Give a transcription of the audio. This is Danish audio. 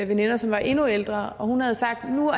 veninder som var endnu ældre og hun havde sagt at nu var